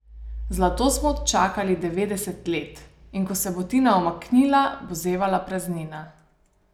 Zlato smo čakali devetdeset let, in ko se bo Tina umaknila, bo zevala praznina.